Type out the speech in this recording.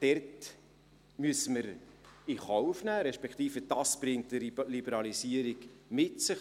Wir müssen in Kauf nehmen – respektive, dies bringt eine Liberalisierung mit sich;